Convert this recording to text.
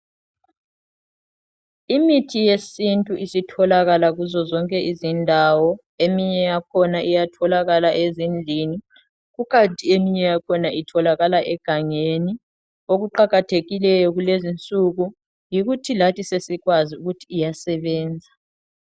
Imithi yesintu isitholakala kuzo zonke izindawo eminye yakhona iyatholakala ezindlini kukanti eminye yakhona itholakala egangeni. Okuqakathekileyo kulezinsuku yikuthi lathi sesikwazi ukuthi iyasebenza